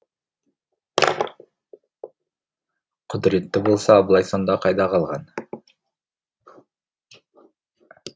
құдіретті болса абылай сонда қайда қалған